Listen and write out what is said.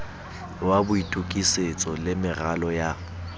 wa boitokisetso le meralo ya